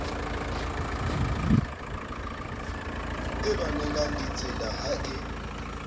e lwanelang ditsela ha e